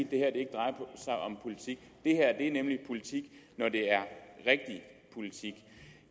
det her ikke drejer sig om politik det her er nemlig politik når det er rigtig politik